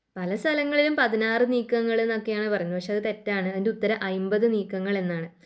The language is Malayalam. പലസ്ഥലങ്ങളിലും പതിനാറ് നീക്കങ്ങൾ എന്നൊക്കെയാണ് പറയുന്നത് പക്ഷേ അത് തെറ്റാണ് അതിൻറെ ഉത്തരം അയിമ്പത് നീക്കങ്ങൾ എന്നാണ്.